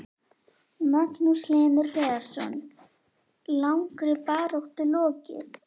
Magnús Hlynur Hreiðarsson: Langri baráttu lokið?